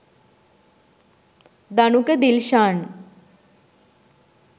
danuka dilshan